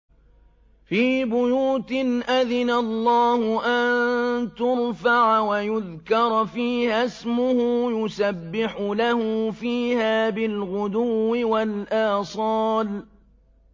فِي بُيُوتٍ أَذِنَ اللَّهُ أَن تُرْفَعَ وَيُذْكَرَ فِيهَا اسْمُهُ يُسَبِّحُ لَهُ فِيهَا بِالْغُدُوِّ وَالْآصَالِ